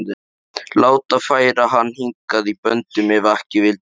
Láta færa hann hingað í böndum ef ekki vildi betur.